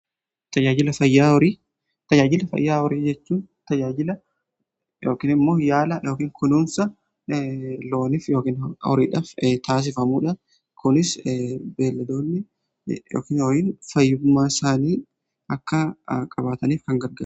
Tajaajila fayyaa horii jechuun tajaajila yookiin immoo yaala yookiin kunuunsa loonif yookiin horiidhaaf taasifamuudha. Kunis beeladoonni yookiin fayyummaa isaanii akka qabaataniif kan gargaruudha.